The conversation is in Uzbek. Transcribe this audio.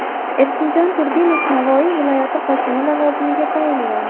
Erkinjon Turdimov Navoiy viloyati hokimi lavozimiga tayinlandi.